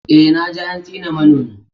Eh, na ji an tsine manomi.